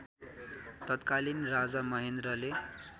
तत्कालीन राजा महेन्द्रले